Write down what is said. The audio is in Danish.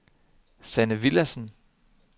Sanne Villadsen